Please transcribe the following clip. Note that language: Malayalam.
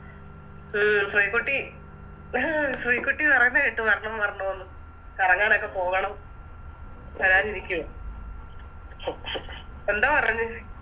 ഉം ശ്രീക്കുട്ടി ശ്രീക്കുട്ടി പറയുന്ന കേട്ട് വരണം വരണം ന്ന് കറങ്ങാനൊക്കെ പോകണം വരാനിരിക്കുവാ എന്തോ പറഞ്ഞ്